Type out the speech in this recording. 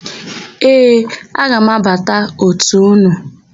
Ee, aga m abata òtù ụnụ.